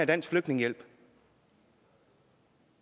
dansk flygtningehjælp